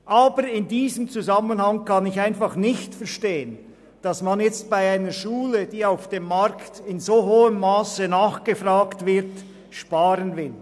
Aber in diesem Zusammenhang kann ich einfach nicht verstehen, weshalb man bei einer Schule, die auf dem Markt in so hohem Masse nachgefragt wird, sparen will.